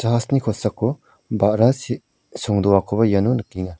kosako ba·ra si-songdoakoba iano nikenga.